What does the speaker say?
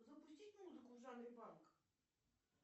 запустить музыку в жанре панк